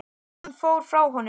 Hann fór frá honum.